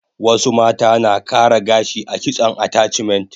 Wasu mata na kara gashi a kitson attachment